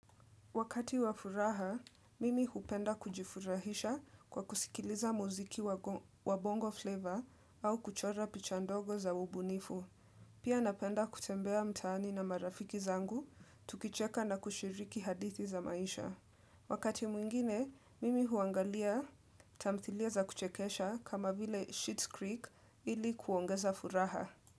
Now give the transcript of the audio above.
Wakati wa furaha, mimi hupenda kujifurahisha kwa kusikiliza muziki wa bongo flavor au kuchora picha ndogo za ubunifu. Pia napenda kutembea mtaani na marafiki zangu, tukicheka na kushiriki hadithi za maisha. Wakati mwingine, mimi huangalia tamthilia za kuchekesha kama vile Sheets Creek ili kuongeza furaha.